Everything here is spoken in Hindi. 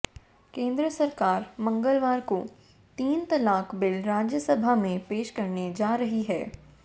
केंद्र सरकार मंगलवार को तीन तलाक बिल राज्यसभा में पेश करने जा रही है